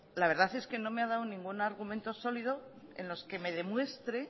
la verdad es que no me ha dado ningún argumento sólido en los que me demuestre